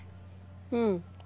Hum.